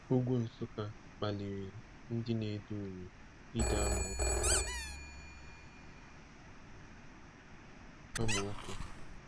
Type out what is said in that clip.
Ugwu Nsukka kpaliri ndị na-ede uri ide amaokwu. amaokwu.